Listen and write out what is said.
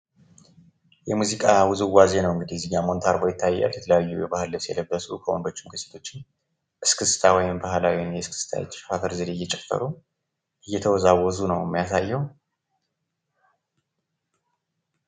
የሙዚቃ ውዝዋዜ ነው እንግዲህ እዚህጋ ሙንታርቦ ይታያል። የተለያዩ የባህል ልብስ የለበሱ ወንዶችም ከሴቶችም እስክስታ ወይም ባህላዊ እስክስታ ትክሻ ዘዴ እየጨፈሩ እየተወዘወዙ ነው የሚያሳየው።